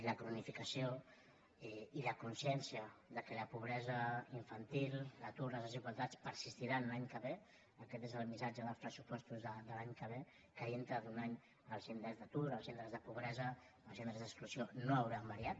la cronificació i la consciència que la pobresa infantil l’atur les desigualtats persistiran l’any que ve aquest és el missatge dels pressupostos de l’any que ve que dintre d’un any els índexs d’atur els índexs de pobresa els índexs d’exclusió no hauran variat